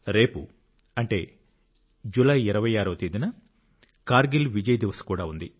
రేపు అంటే జూలై 26వ తేదీన కార్గిల్ విజయ్ దివస్ కూడా ఉంది